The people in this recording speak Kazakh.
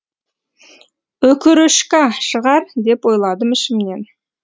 өкөрөшка шығар деп ойладым ішімнен